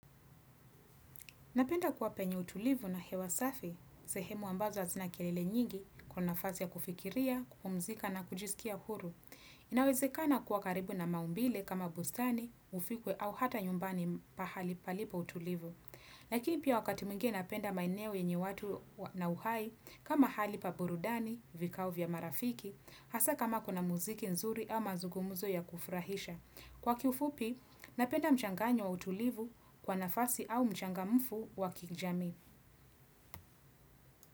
Napenda kuwa penye utulivu na hewa safi, sehemu ambazo hazina kelele nyingi kwa nafasi ya kufikiria, kupumzika na kujisikia huru. Inawezekana kuwa karibu na maumbile kama bustani, ufikwe au hata nyumbani pahali palipo utulivu. Lakini pia wakati mwingine napenda maeneo yenye watu na uhai kama hali pa burudani, vikao vya marafiki, hasa kama kuna muziki nzuri ama zugomuzo ya kufrahisha. Kwa kiufupi, napenda mchanganyo wa utulivu kwa nafasi au mchangamfu wa kijamii.